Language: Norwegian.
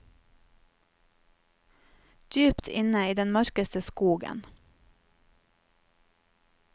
Dypt inne i den mørkeste skogen.